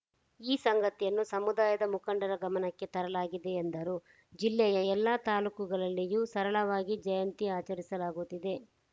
ಈ ಸಂಗತಿಯನ್ನು ಸಮುದಾಯದ ಮುಖಂಡರ ಗಮನಕ್ಕೆ ತರಲಾಗಿದೆ ಎಂದರು ಜಿಲ್ಲೆಯ ಎಲ್ಲ ತಾಲೂಕುಗಳಲ್ಲಿಯೂ ಸರಳವಾಗಿ ಜಯಂತಿ ಆಚರಿಸಲಾಗುತ್ತಿದೆ